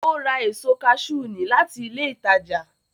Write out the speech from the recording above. Ó ra èso kaṣú ní láti ilé ìtajà